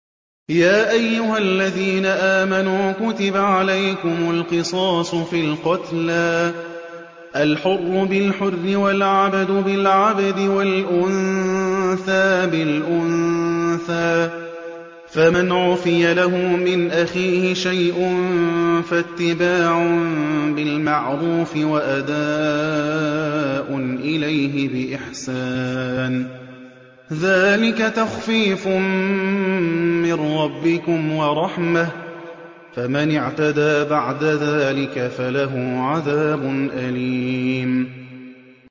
يَا أَيُّهَا الَّذِينَ آمَنُوا كُتِبَ عَلَيْكُمُ الْقِصَاصُ فِي الْقَتْلَى ۖ الْحُرُّ بِالْحُرِّ وَالْعَبْدُ بِالْعَبْدِ وَالْأُنثَىٰ بِالْأُنثَىٰ ۚ فَمَنْ عُفِيَ لَهُ مِنْ أَخِيهِ شَيْءٌ فَاتِّبَاعٌ بِالْمَعْرُوفِ وَأَدَاءٌ إِلَيْهِ بِإِحْسَانٍ ۗ ذَٰلِكَ تَخْفِيفٌ مِّن رَّبِّكُمْ وَرَحْمَةٌ ۗ فَمَنِ اعْتَدَىٰ بَعْدَ ذَٰلِكَ فَلَهُ عَذَابٌ أَلِيمٌ